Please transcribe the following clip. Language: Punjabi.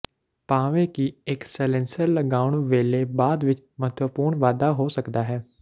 ਭਾਵੇਂ ਕਿ ਇੱਕ ਸਲੇਨਸਰ ਲਗਾਉਣ ਵੇਲੇ ਬਾਅਦ ਵਿੱਚ ਮਹੱਤਵਪੂਰਨ ਵਾਧਾ ਹੋ ਸਕਦਾ ਹੈ